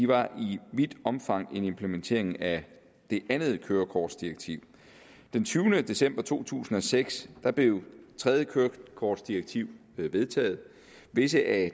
var i vidt omfang en implementering af det andet kørekortdirektiv den tyvende december to tusind og seks blev det tredje kørekortdirektiv vedtaget visse af